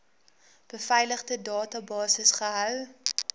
beveiligde databasis gehou